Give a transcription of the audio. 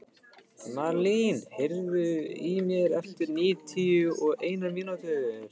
Marlín, heyrðu í mér eftir níutíu og eina mínútur.